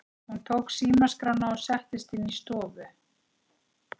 Hún tók símaskrána og settist inn í stofu.